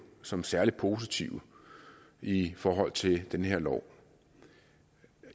som særlig positive i forhold til den her lov